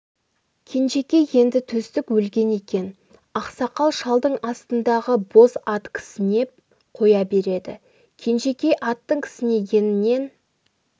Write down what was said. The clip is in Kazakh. кенжекей енді төстік өлген екен ақсақал шалдың астындағы боз ат кісінеп қоя береді кенжекей аттың кісінегенінен